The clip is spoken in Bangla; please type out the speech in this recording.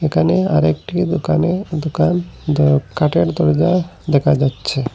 এখানে আরেকটি দোকানে দুকান দ কাঠের তরিদার দেখা যাচ্ছে।